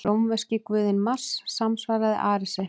Rómverski guðinn Mars samsvaraði Aresi.